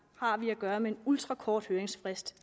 har vi at gøre med en ultrakort høringsfrist